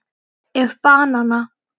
ef banana